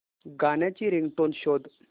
गाण्याची रिंगटोन शोध